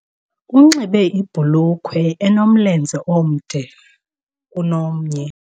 Unxibe ibhulukhwe enomlenze omde kunomnye